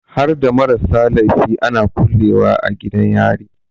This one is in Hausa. Harda marasa laifi ana kulle wa a gidan yari?